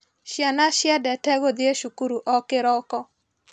Ciana ciendete gũthiĩ cukuru o kĩroko.